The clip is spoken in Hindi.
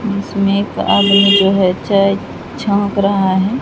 इसमें एक आदमी च छौंक रहा है।